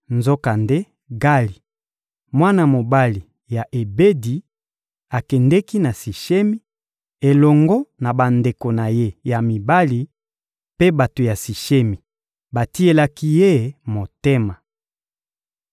Nzokande Gali, mwana mobali ya Ebedi, akendeki na Sishemi, elongo na bandeko na ye ya mibali; mpe bato ya Sishemi batielaki ye motema.